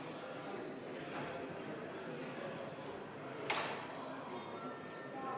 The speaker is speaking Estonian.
Muudatusettepanek ei leidnud toetust.